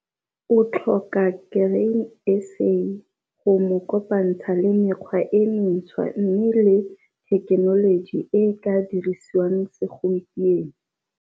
O tlhoka Grain SA go mo kopantsha le mekgwa e mentshwa mme le thekenoloji e e ka dirisiwang segompieno.